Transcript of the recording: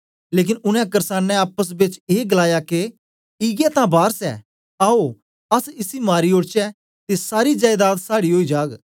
लेकन उनै करसानें आपस बेच ऐ गलाया के इयै तां वारस ऐ आओ अस इसी मारी ओड़चै ते सारी जयेदाद साड़ी ओई जाग